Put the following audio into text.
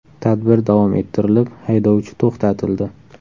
Tadbir davom ettirilib, haydovchi to‘xtatildi.